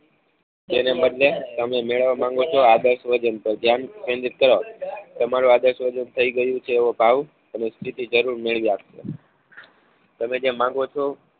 બે નંબરને તમે મેળવવા માંગો છો આદર્શ વજન તો ધ્યાન કેન્દ્રિત કરો તમારું આદર્શ વજન થઈ ગયું છે એવો ભાવ અને સ્થિતિ જરૂર મેળવી આપશે તમે જે માંગો છો